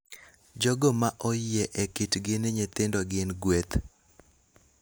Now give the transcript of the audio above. jogo ma oyie e kitgi ni nyithindo gin gueth.